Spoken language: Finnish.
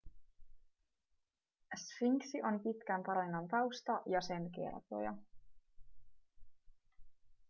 sfinksi on pitkän tarinan tausta ja sen kertoja